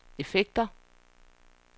effekter